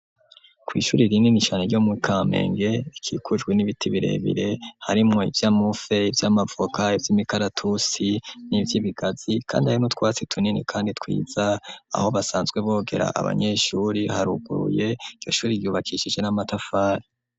Kw'ishure rinini cane ryo mukamenge rikujwi n'ibiti birebire harimwo ivyamufe ivy'amavoka ivy'imikaratusi n'ivy'ibigazi kandi harimwo utwatsi tunini kandi twiza aho basanzwe bogera abanyeshure haruguruye ishure ryubakishije n'amatafari.